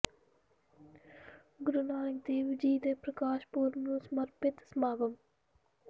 ਗੁਰੂ ਨਾਨਕ ਦੇਵ ਜੀ ਦੇ ਪ੍ਰਕਾਸ਼ ਪੁਰਬ ਨੰੂ ਸਮਰਪਿਤ ਸਮਾਗਮ